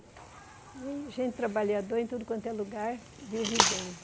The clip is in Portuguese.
E gente trabalhadora, em tudo quanto é lugar, vive bem.